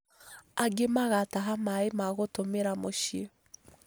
Angĩ magataha maaĩ ma gũtũmĩra múciĩ